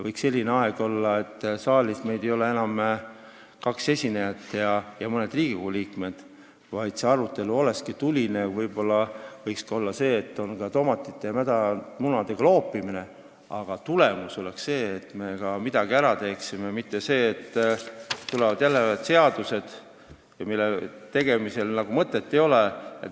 Võiks olla ette nähtud nii pikk aeg, et saalis ei oleks enam kaks esinejat ja mõned Riigikogu liikmed, vaid see arutelu oleks tuline, võib-olla võiks olla ka tomatite ja mädamunadega loopimist, aga tulemus oleks see, et me ka midagi ära teeksime, mitte see, et tulevad jälle seadused, mille tegemisel nagu mõtet ei ole.